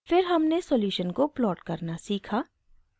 फिर हमने सॉल्यूशन को प्लॉट करना सीखा